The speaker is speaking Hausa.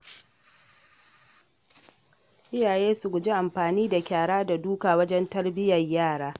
Iyaye su guji amfani da kyara da duka wajen tarbiyyar yara..